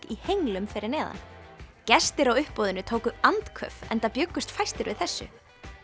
í henglum fyrir neðan gestir á uppboðinu tóku andköf enda bjuggust fæstir við þessu